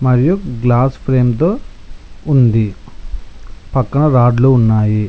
మరియు glass frame తో ఉంది పక్కన రాడ్లు ఉన్నాయి.